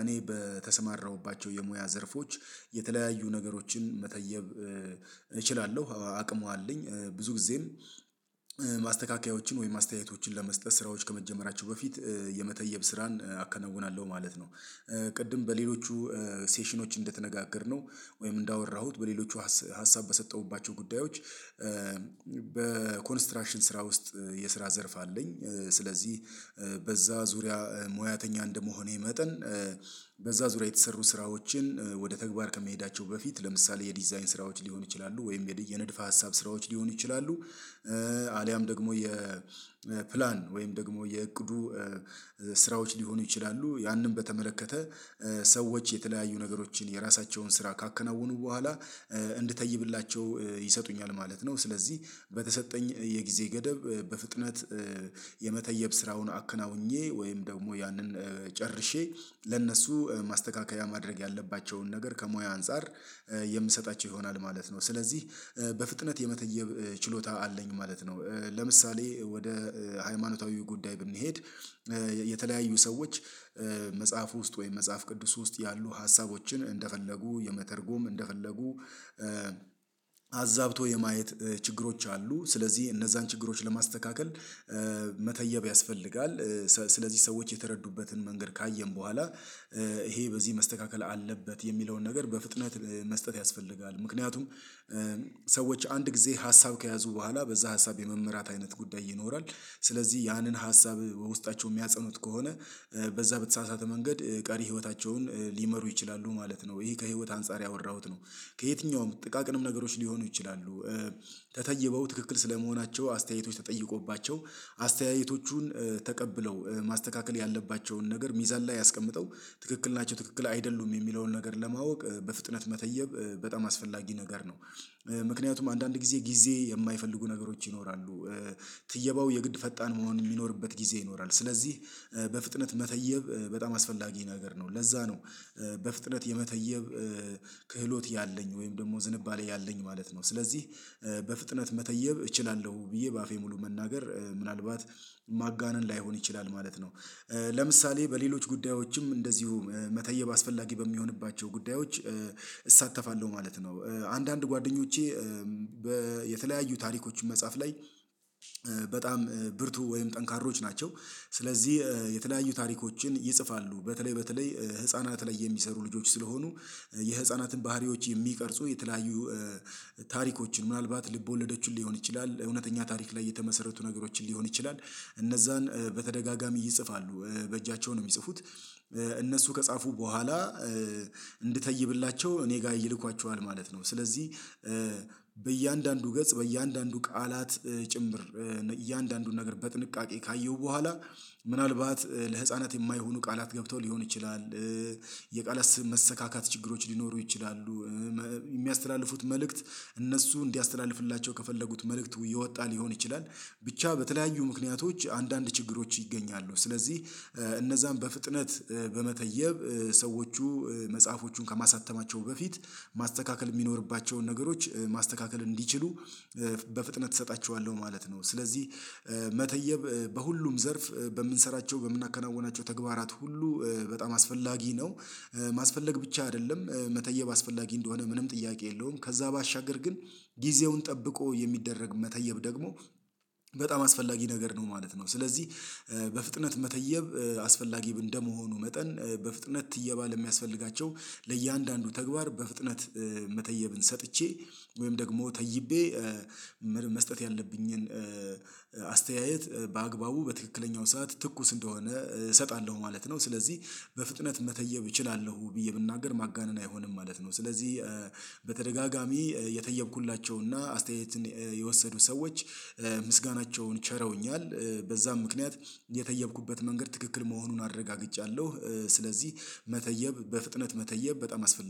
እኔ በተሰማራሁባቸው የሙያ ዘርፎች የተለያዩ ነገሮችን መተየብ እችላለሁ። አቅሙ አለኝ ብዙ ጊዜም ማስተካከያዎችን ወይም አስተያየቶችን ለመስጠት ስራዎች ከመጀመራቸው በፊት የመተየብ ስራን አከናውናለሁ ማለት ነው። ቅድም በሌሎቹ ሴሽኖች እንደተነጋገርነው ወይም እንዳወራሁት በሌሎቹ ሀሳብ በሰጠሁባቸው ጉዳዮች። በኮንስትራክሽን ስራ ውስጥ የስራ ዘርፍ አለኝ። ስለዚህ በዛ ዙሪያ ሙያተኛ እንደመሆኔ መጠን በዛ ዙሪያ የተሰሩ ስራዎችን ወደ ተግባር ከመሄዳቸው በፊት ለምሳሌ የዲዛይን ስራዎች ሊሆን ይችላሉ ወይም የንድፈ ሀሳብ ስራዎች ሊሆኑ ይችላሉ። አልያም ደግሞ የፕላን ወይም ደግሞ የእቅዱ ስራዎች ሊሆኑ ይችላሉ ያንን በተመለከተ ሰዎች የተለያዩ ነገሮችን የራሳቸውን ስራ ካከናወኑ በኋላ እንድተይብላቸው ይሰጡኛል ማለት ነው። ስለዚህ በተሰጠኝ የጊዜ ገደብ በፍጥነት የመተየብ ስራውን አከናውኜ ወይም ደግሞ ያንን ጨርሼ ለእነሱ ማስተካከያ ማድረግ ያለባቸውን ነገር ከሙያ አንፃር የምሰጣቸው ይሆናል ማለት ነው። ስለዚህ በፍጥነት የመተየብ ችሎታ አለኝ ማለት ነው። ለምሳሌ ወደ ሃይማኖታዊ ጉዳይ ብንሄድ የተለያዩ ሰዎች መጽሐፉ ውስጥ ወይም መጽሐፍ ቅዱስ ውስጥ ያሉ ሀሳቦችን እንደፈለጉ የመተርጎም እንደፈለጉ አዛብቶ የማየት ችግሮች አሉ። ስለዚህ እነዛን ችግሮች ለማስተካከል መተየብ ያስፈልጋል። ስለዚህ ሰዎች የተረዱበትን መንገድ ካየን በኋላ ይሄ በዚህ መስተካከል አለበት የሚለውን ነገር በፍጥነት መስጠት ያስፈልጋል። ምክንያቱም ሰዎች አንድ ጊዜ ሀሳብ ከያዙ በኋላ በዛ ሀሳብ የመመራት አይነት ጉዳይ ይኖራል። ስለዚህ ያንን ሀሳብ ውስጣቸው የሚያጸኑት ከሆነ በዛ በተሳሳተ መንገድ ቀሪ ህይወታቸውን ሊመሩ ይችላሉ ማለት ነው። ይሄ ከህይወት አንፃር ያወራሁት ነው። ከየትኛውም ጥቃቅንም ነገሮች ሊሆኑ ይችላሉ። ተተይበው ትክክል ስለመሆናቸው አስተያየቶች ተጠይቆባቸው አስተያየቶቹን ተቀብለው ማስተካከል ያለባቸውን ነገር ሚዛን ላይ አስቀምጠው ትክክል ናቸው ትክክል አይደሉም የሚለውን ነገር ለማወቅ በፍጥነት መተየብ በጣም አስፈላጊ ነገር ነው። ምክንያቱም አንዳንድ ጊዜ ጊዜ የማይፈልጉ ነገሮች ይኖራሉ። ትየባው የግድ ፈጣን መሆን የሚኖርበት ጊዜ ይኖራል። ስለዚህ በፍጥነት መተየብ በጣም አስፈላጊ ነገር ነው ለዛ ነው። በፍጥነት የመተየብ ክህሎት ያለኝ ወይም ደግሞ ዝንባሌ ያለኝ ማለት ነው። ስለዚህ በፍጥነት መተየብ እችላለሁ ብዬ በአፌ ሙሉ መናገር ምናልባት ማጋነን ላይሆን ይችላል ማለት ነው። ለምሳሌ በሌሎች ጉዳዮችም እንደዚሁ መተየብ አስፈላጊ በሚሆንባቸው ጉዳዮች እሳተፋለሁ ማለት ነው። አንዳንድ ጓደኞቼ የተለያዩ ታሪኮችን መጽሐፍ ላይ በጣም ብርቱ ወይም ጠንካሮች ናቸው። ስለዚህ የተለያዩ ታሪኮችን ይጽፋሉ በተለይ በተለይ ህፃናት ላይ የሚሰሩ ልጆች ስለሆኑ የህፃናትን ባህሪዎች የሚቀርጹ የተለያዩ ታሪኮችን ምናልባት ልቦለዶችን ሊሆን ይችላል እውነተኛ ታሪክ ላይ የተመሰረቱ ነገሮችን ሊሆን ይችላል። እነዛን በተደጋጋሚ ይጽፋሉ በእጃቸው ነው የሚጽፉት። እነሱ ከጻፉ በኋላ እንድተይብላቸው እኔ ጋር ይልኳቸዋል ማለት ነው። ስለዚህ በእያንዳንዱ ገጽ በእያንዳንዱ ቃላት ጭምር እያንዳንዱን ነገር በጥንቃቄ ካየሁ በኋላ ምናልባት ለህፃናት የማይሆኑ ቃላት ገብተው ሊሆን ይችላል። የቃላት መሰካካት ችግሮች ሊኖሩ ይችላሉ። የሚያስተላልፉት መልእክት እነሱ እንዲያስተላልፍላቸው ከፈለጉት መልእክት የወጣ ሊሆን ይችላል። ብቻ በተለያዩ ምክንያቶች አንዳንድ ችግሮች ይገኛሉ ስለዚህ እነዛን በፍጥነት በመተየብ ሰዎቹ መጽሐፎቹን ከማሳተማቸው በፊት ማስተካከል የሚኖርባቸውን ነገሮች ማስተካከል እንዲችሉ በፍጥነት እሰጣቸዋለሁ ማለት ነው። ስለዚህ መተየብ በሁሉም ዘርፍ በምንሰራቸው በምናከናውናቸው ተግባራት ሁሉ በጣም አስፈላጊ ነው። ማስፈለግ ብቻ አይደለም መተየብ አስፈላጊ እንደሆነ ምንም ጥያቄ የለውም ከዛ ባሻገር ግን ጊዜውን ጠብቆ የሚደረግ መተየብ ደግሞ በጣም አስፈላጊ ነገር ነው ማለት ነው። ስለዚህ በፍጥነት መተየብ አስፈላጊ እንደመሆኑ መጠን በፍጥነት ትየባ ለሚያስፈልጋቸው ለእያንዳንዱ ተግባር በፍጥነት መተየብን ሰጥቼ ወይም ደግሞ ተይቤ መስጠት ያለብኝን አስተያየት በአግባቡ በትክክለኛው ሰዓት ትኩስ እንደሆነ እሰጣለሁ ማለት ነው። ስለዚህ በፍጥነት መተየብ እችላለሁ ብዬ ብናገር ማጋነን አይሆንም ማለት ነው። ስለዚህ በተደጋጋሚ የተየብኩላቸው እና አስተያየትን የወሰዱ ሰዎች ምስጋናቸውን ችረውኛል በዛም ምክንያት የተየብኩበት መንገድ ትክክል መሆኑን አረጋግጫለሁ። ስለዚህ መተየብ በፍጥነት መተየብ በጣም አስፈላጊ